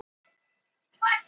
Alltaf sami ræfillinn!